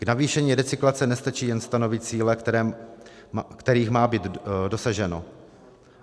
K navýšení recyklace nestačí jen stanovit cíle, kterých má být dosaženo.